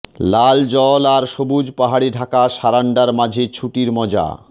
লাল জল আর সবুজ পাহাড়ে ঢাকা সারান্ডার মাঝে ছুটির মজা